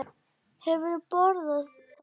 Hefurðu borðað þar?